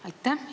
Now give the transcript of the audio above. Aitäh!